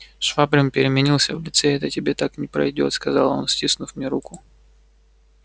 швабрин переменился в лице это тебе так не пройдёт сказал он стиснув мне руку